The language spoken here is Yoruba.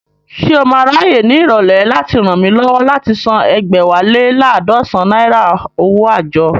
Ṣé o máa ráyè ní ìrọ̀lẹ́ láti ràn mí lọ́wọ́ láti san ẹ̀gbẹ́wá lé laadọsan náírà owó àjọ?